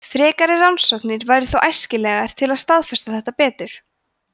frekari rannsóknir væru þó æskilegar til að staðfesta þetta betur